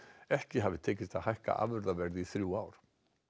ekki hafi tekist að hækka afurðaverð í þrjú ár